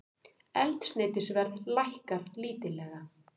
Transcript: Eldsneytisverð lækkar lítillega